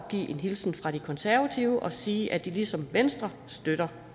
at give en hilsen fra de konservative og sige at de ligesom venstre støtter